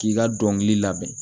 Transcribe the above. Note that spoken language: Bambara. K'i ka dɔnkili labɛn